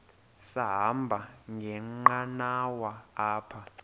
sahamba ngenqanawa apha